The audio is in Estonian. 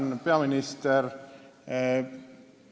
Tänan, peaminister!